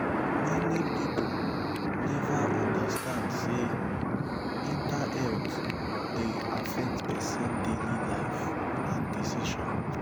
many pipo neva undastand say mental health dey affect pesin daily life and decision